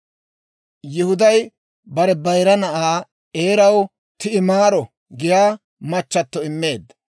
Yihuday bare bayira na'aa Eeraw Ti'imaaro giyaa machchato immeedda.